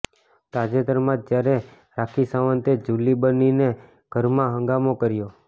તાજેતરમાં જ જ્યારે રાખી સંવતે જુલી બનીને ઘરમાં હંગામો કર્યો